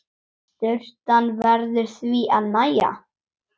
Sturtan verður því að nægja.